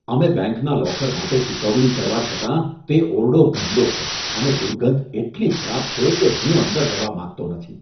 અમે બેંકના લોકર માટે ચૂકવણી કરવા છતાં, તે ઓરડો ગંદો છે અને દુર્ગંધ એટલી ખરાબ છે કે હું અંદર જવા માંગતો નથી.